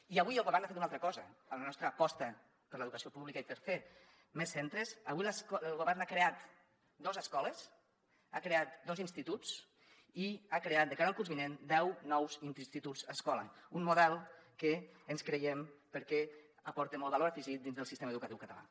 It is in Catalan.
i avui el govern ha fet una altra cosa en la nostra aposta per l’educació pública i per fer més centres avui el govern ha creat dos escoles ha creat dos instituts i ha creat de cara al curs vinent deu nous instituts escola un model que ens creiem perquè aporta molt valor afegit dins del sistema educatiu català